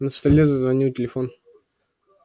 на столе зазвонил телефон